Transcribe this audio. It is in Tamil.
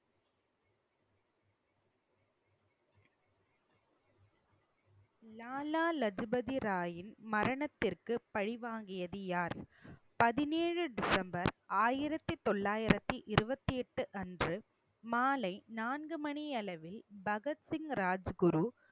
லாலா லஜபதி ராயின் மரணத்திற்கு பழி வாங்கியது யார் பதினேழு டிசம்பர் ஆயிரத்தி தொள்ளாயிரத்தி இருபத்தி எட்டு அன்று மாலை நான்கு மணி அளவில், பகத்சிங் ராஜ் குரு